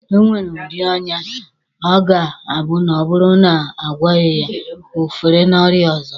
E nwere udi ọnya ọ ga-abụ na ọ bụrụ na a gwọghị ya, o fere n'ọrịa ọzọ.